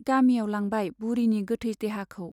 गामियाव लांबाय बुरिनि गोथै देहाखौ।